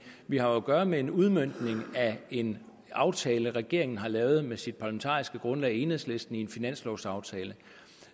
vi har jo at gøre med en udmøntning af en aftale regeringen har lavet med sit parlamentariske grundlag enhedslisten i en finanslovaftale